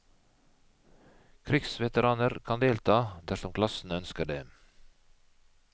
Krigsveteraner kan delta dersom klassene ønsker det.